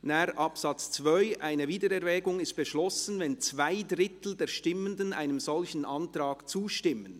Nachher, Absatz 2: «Eine Wiedererwägung ist beschlossen, wenn zwei Drittel der Stimmenden einem solchen Antrag zustimmen.